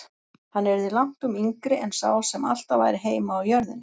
Hann yrði langtum yngri en sá sem alltaf væri heima á jörðinni.